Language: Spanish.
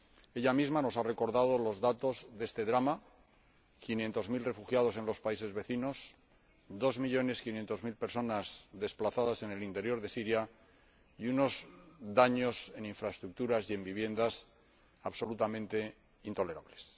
Ella misma nos ha recordado los datos de este drama quinientos mil refugiados en los países vecinos, dos millones quinientas mil personas desplazadas en el interior de Siria y unos daños en infraestructuras y en viviendas absolutamente intolerables.